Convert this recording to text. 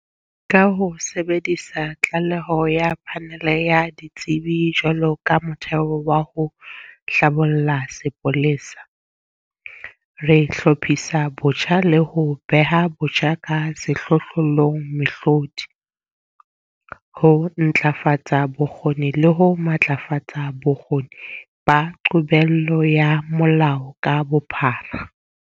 Ka ho sebedisa tlaleho ya Phanele ya Ditsebi jwalo ka motheo wa ho hlabolla sepolesa, re hlophisa botjha le ho beha botjha ka sehlohlolong mehlodi, ho ntlafatsa bokgoni le ho matlafatsa bokgoni ba qobello ya molao ka bophara.